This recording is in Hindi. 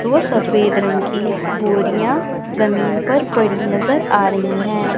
दो सफेद रंग की बोरियां जमीन पर पड़ी नजर आ रही हैं।